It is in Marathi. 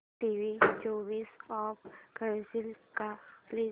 टीव्ही स्वीच ऑफ करशील का प्लीज